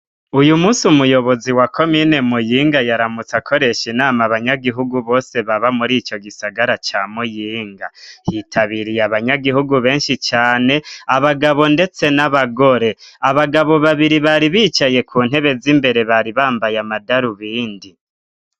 Uyu munsi umuyobozi wa komine muyinga, yaramutse akoresha inama abanyagihugu bose, baba muri ico gisagara ca muyinga ,hitabiriye abanyagihugu benshi cane ,abagabo ndetse n'abagore, abagabo babiri bari bicaye ku ntebe z'imbere bari bambaye amadarubindi.